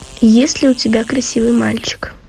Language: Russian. есть ли у тебя красивый мальчик